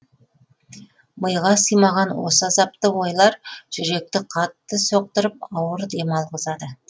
миға сыймаған осы азапты ойлар жүректі қатты соқтырып ауыр дем алғызады